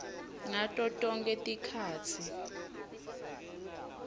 ngato tonkhe tikhatsi